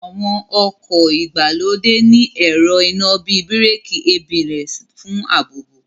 Àwọn ọkọ̀ ìgbàlódé ní ẹ̀rọ iná bíi Bíràkì ABS fún ààbò